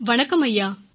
வணக்கம் ஐயா